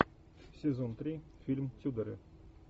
сезон три фильм тюдоры